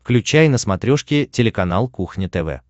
включай на смотрешке телеканал кухня тв